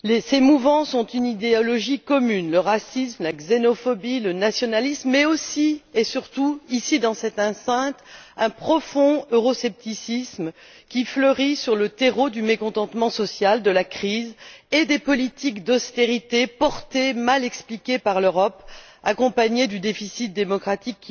Ces mouvances ont une idéologie commune le racisme, la xénophobie, le nationalisme mais, aussi et surtout, ici dans cette enceinte, un profond euroscepticisme qui fleurit sur le terreau du mécontentement social, de la crise et des politiques d'austérité portées et mal expliquées par l'Europe, accompagnées du déficit démocratique.